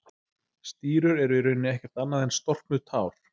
Stírur eru í rauninni ekkert annað en storknuð tár.